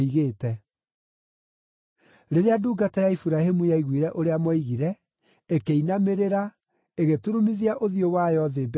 Rĩrĩa ndungata ya Iburahĩmu yaiguire ũrĩa moigire, ĩkĩinamĩrĩra, ĩgĩturumithia ũthiũ wayo thĩ mbere ya Jehova.